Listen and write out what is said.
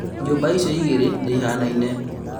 Nyũmba icio igĩrĩ nĩihanaine